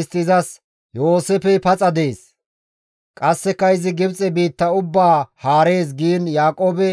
Istti izas, «Yooseefey paxa dees! Qasseka izi Gibxe biitta ubbaa haarees» giin Yaaqoobe